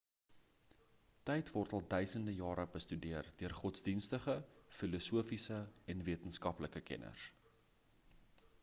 tyd word al duisende jare bestudeer deur godsdienstige filosofiese en wetenskaplike kenners